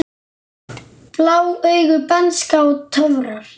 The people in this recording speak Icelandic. Blá augu, bernska og töfrar